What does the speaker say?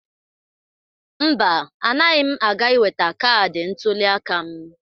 Mba, anaghị m aga iweta kaadị ntụliaka m.